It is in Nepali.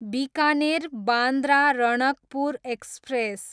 बिकानेर, बान्द्रा रणकपुर एक्सप्रेस